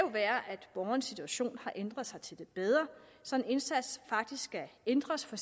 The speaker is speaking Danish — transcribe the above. borgerens situation har ændret sig til det bedre så indsatsen faktisk skal ændres for